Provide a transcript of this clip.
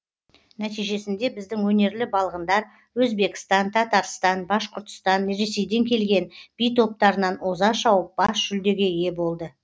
нәтижесінде біздің өнерлі балғындар өзбекстан татарстан башқұртстан ресейден келген би топтарынан оза шауып бас жүлдеге ие болды